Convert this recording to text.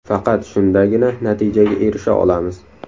Faqat shundagina natijaga erisha olamiz.